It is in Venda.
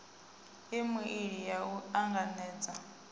e meili ya u anganedza